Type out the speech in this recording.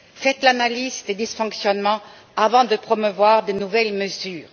Faites l'analyse des dysfonctionnements avant de promouvoir de nouvelles mesures.